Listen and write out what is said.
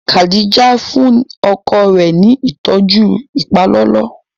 Kadija fúnni ọkọ rẹ ní ìtọjú ipalọlọ